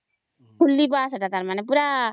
ହମ୍